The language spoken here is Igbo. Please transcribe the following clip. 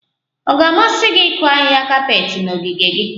Ọ ga-amasị gị ịkụ ahịhịa kapet na ogige gị?